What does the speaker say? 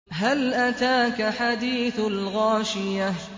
هَلْ أَتَاكَ حَدِيثُ الْغَاشِيَةِ